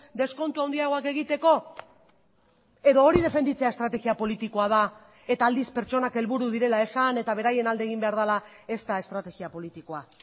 deskontu handiagoak egiteko edo hori defenditzea estrategia politikoa da eta aldiz pertsonak helburu direla esan eta beraien alde egin behar dela ez da estrategia politikoa